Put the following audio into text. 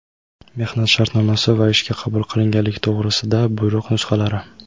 mehnat shartnomasi va ishga qabul qilinganlik to‘g‘risida buyruq nusxalari;.